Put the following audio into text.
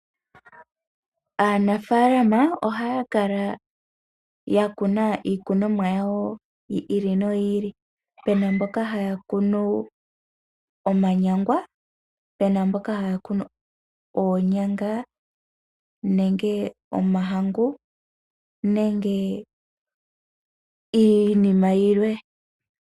Aanafaalama ohaya kala ya kuna iikunomwa yawo yi ili noyi ili, pena mboka haya kunu omwanyangwa, pena mboka haya kunu oonyanga nenge omahangu nenge iinima yilwe.